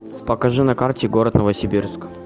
покажи на карте город новосибирск